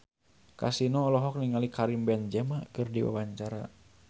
Kasino olohok ningali Karim Benzema keur diwawancara